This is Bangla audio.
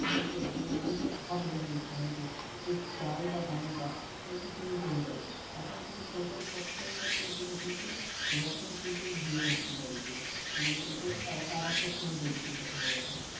যে মানুষে খাবে হয়তো সে চাল বা দানা তা হয়তো কিনতে হতো এখন কিন্তু সপ্তাহে সপ্তাহে সেটা কিন্তু রেশন কিন্তু দিয়ে যাচ্ছে বাড়িতে মানে এটা আরেকটা সুবিধা যদি কথা বলা হয়